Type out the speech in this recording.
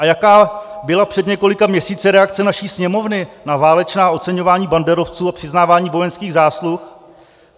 A jaká byla před několika měsíci reakce naší Sněmovny na válečná oceňování banderovců a přiznávání vojenských zásluh?